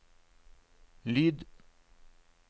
lyd